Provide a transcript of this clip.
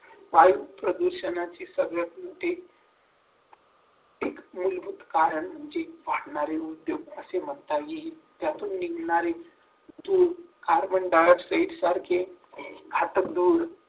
वायु प्रदूषणाची सगळ्यात मोठी एक मूलभूत कारण म्हणजे वाढणारे उद्योग असे म्हणता येईल त्यातून निघणारे जो कार्बन-डाय-ऑक्साइड सारखे घातक धूळ